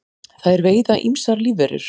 þær veiða ýmsar lífverur